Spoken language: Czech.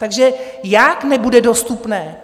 Takže jak, nebude dostupné?